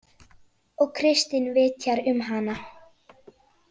Og Kristín vitjar um hana.